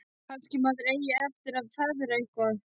Kannski maður eigi eftir að feðra eitthvað.